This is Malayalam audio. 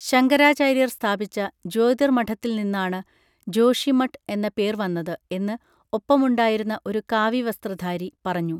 ശങ്കരാചാര്യർ സ്ഥാപിച്ച ജ്യോതിർ മഠത്തിൽ നിന്നാണ് ജോഷിമഠ് എന്ന പേർ വന്നത് എന്ന് ഒപ്പമുണ്ടായിരുന്ന ഒരു കാവി വസ്ത്രധാരി പറഞ്ഞു